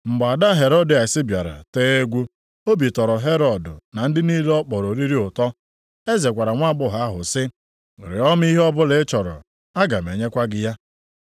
Mgbe ada Herodịas bịara tee egwu, obi tọrọ Herọd na ndị niile ọ kpọrọ oriri ụtọ. Eze gwara nwaagbọghọ ahụ sị, “Rịọ m ihe ọbụla ị chọrọ aga m enyekwa gị ya.”